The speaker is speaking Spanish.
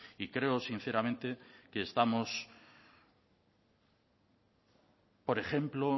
y creo sinceramente que estamos por ejemplo